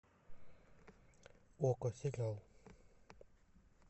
окко сериал